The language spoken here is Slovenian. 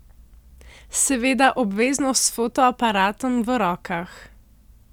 Seveda obvezno s fotoaparatom v rokah.